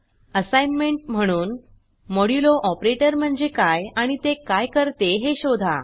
assignment म्हणून modulo operator म्हणजे काय आणि ते काय करते हे शोधा